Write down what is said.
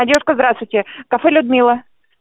девушка здравствуйте кафе людмила